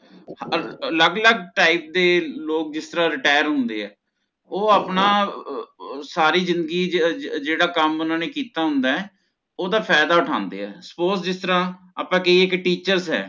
ਅਲੱਗ ਅਲੱਗ Type ਦੇ ਲੋਗ ਜਿਸ ਤਰਹ Retire ਹੋਂਦੇ ਨੇ ਓਹ ਆਪਣਾ ਅਹ ਸਾਰੀ ਜ਼ਿੰਦਗੀ ਜਿਹ ਜੇਹੜਾ ਕਮ ਓਹਨਾਂ ਨੇ ਕੀਤਾ ਹੋਂਦਾ ਓਹਦਾ ਫਾਇਦਾ ਉਠਾਂਦੇ ਹੈ Suppose ਜਿਸ ਤਰਹ ਕੀ ਇੱਕ teachers ਹੈ